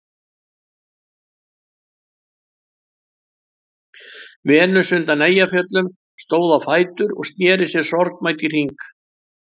Venus undan Eyjafjöllum stóð á fætur og sneri sér sorgmædd í hring.